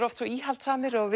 oft íhaldssamir og